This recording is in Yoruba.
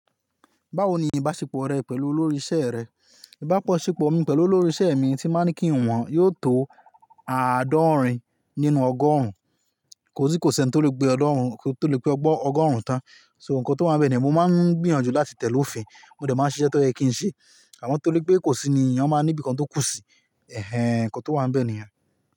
Báwo ni ìbáṣepọ̀ rẹ pẹ̀lú olórí isẹ́ rẹ? Ìbáṣepọ̀ mi pẹ̀lú olórí isẹ́ mi tí ba ń kí wọn, yóò tó àádọ́rin nínú ọgọ́rùn-ún. Kò sí kò sí ẹni tó lè gbé ọ̀ọ́dọ́rún tó lè pé ọgbọ́n ọgọ́rùn-ún tán. So nǹkan tó máa ń bẹ ni mo máa ń gbìyànjú láti tẹ̀lé òfin, mo dẹ̀ máa ṣiṣẹ́ tó ẹ̀yin kí n ṣe. Àmọ́ torí pé kò sí ni èèyàn máa níbi kan tó kú si. Ẹ̀hẹn, nǹkan tó wà níbẹ̀ nìyẹn.